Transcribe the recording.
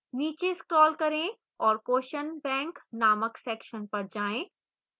नीचे scroll करें और question bank named section पर जाएं